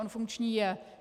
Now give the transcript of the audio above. On funkční je.